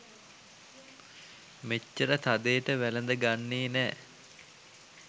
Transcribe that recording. මෙච්චර තදේට වැලද ගන්නේ නැ